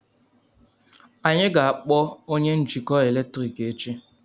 anyị ga-akpọ onye njikọ eletrik echi